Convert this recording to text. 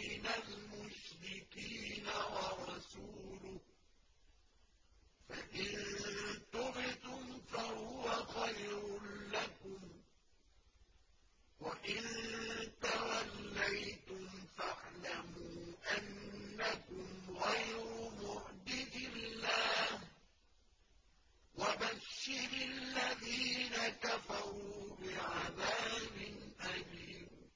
مِّنَ الْمُشْرِكِينَ ۙ وَرَسُولُهُ ۚ فَإِن تُبْتُمْ فَهُوَ خَيْرٌ لَّكُمْ ۖ وَإِن تَوَلَّيْتُمْ فَاعْلَمُوا أَنَّكُمْ غَيْرُ مُعْجِزِي اللَّهِ ۗ وَبَشِّرِ الَّذِينَ كَفَرُوا بِعَذَابٍ أَلِيمٍ